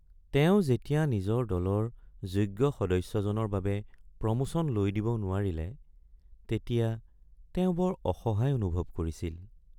তেওঁ যেতিয়া নিজৰ দলৰ যোগ্য সদস্যজনৰ বাবে প্ৰমোচন লৈ দিব নোৱাৰিলে তেতিয়া তেওঁ বৰ অসহায় অনুভৱ কৰিছিল।